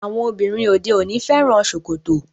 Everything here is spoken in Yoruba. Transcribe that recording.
Àwọn obìnrin òde òní fẹ́ràn ṣòkòtò.